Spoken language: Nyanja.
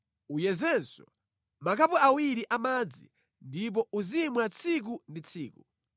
Uyezenso zikho ziwiri zamadzi ndipo uzimwa tsiku ndi tsiku.